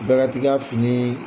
Bɛɛ ka t'i ka finii